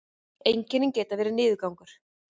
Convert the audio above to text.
einkennin geta verið niðurgangur